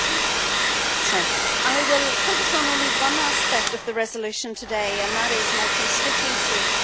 I will focus on only one aspect of the resolution today, and that is my constituency, Northern Ireland.